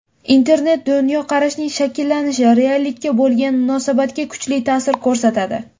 Internet dunyoqarashning shakllanishi, reallikka bo‘lgan munosabatga kuchli ta’sir ko‘rsatadi.